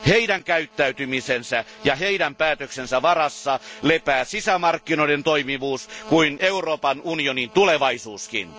Heidän käyttäytymisensä ja heidän päätöksensä varassa lepää niin sisämarkkinoiden toimivuus kuin Euroopan unionin tulevaisuuskin.